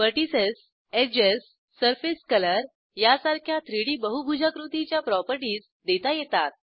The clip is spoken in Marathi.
व्हर्टिसेस एजेस सरफेस कलर यासारख्या 3डी बहुभुजाकृतीच्या प्रॉपर्टीज देता येतात